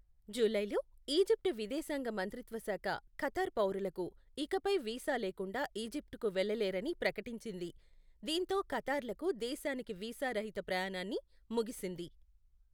జూలైలో, ఈజిప్ట్ విదేశాంగ మంత్రిత్వ శాఖ ఖతార్ పౌరులు ఇకపై వీసా లేకుండా ఈజిప్ట్కు వెళ్లలేరని ప్రకటించింది, దీంతో ఖతార్లకు దేశానికి వీసా రహిత ప్రయాణాన్ని ముగిసింది.